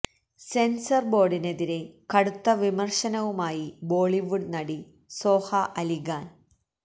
censor ബോര്ഡിനെതിരെ കടുത്ത വിമര്ശനവുമായി ബോളിവുഡ് നടി സോഹ അലി ഖാന്